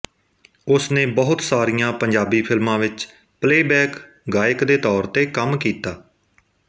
ਉਸ ਨੇ ਬਹੁਤ ਸਾਰੀਆਂ ਪੰਜਾਬੀ ਫ਼ਿਲਮਾਂ ਵਿੱਚ ਪਲੇਅਬੈਕ ਗਾਇਕ ਦੇ ਤੌਰ ਤੇ ਕੰਮ ਕੀਤਾ